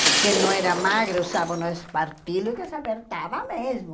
Quem não era magra, usavam o espartilho, que se apertava mesmo.